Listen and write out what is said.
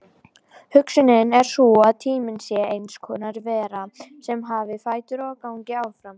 Hugsunin er sú að tíminn sé eins konar vera sem hafi fætur og gangi áfram.